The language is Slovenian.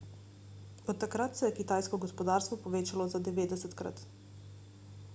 od takrat se je kitajsko gospodarstvo povečalo za 90-krat